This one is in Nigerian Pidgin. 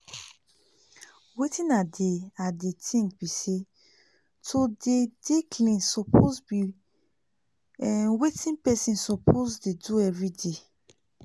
wetin i dey i dey think bi say to dey dey clean suppose bi um wetin pesin suppose dey do everyday